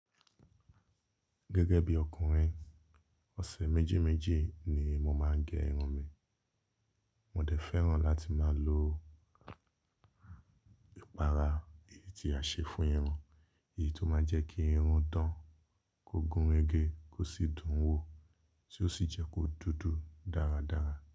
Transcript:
Gẹ́gẹ́ bí ọkùnrin, ọ̀sẹ̀ méjì méjì ni mo máa ń gé irun mi. Mò dẹ fẹ́ràn láti máa lo ìpara èyí tí a ṣe fún irun, èyí tó máa ń jẹ́ kí irun dán, kó gún rẹgẹ, kó sì dùn wò, tí ó sì jẹ́ kó dúdú dáradára.